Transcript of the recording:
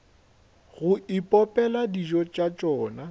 go ipopela dijo tša tšona